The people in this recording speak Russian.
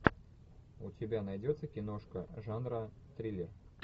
у тебя найдется киношка жанра триллер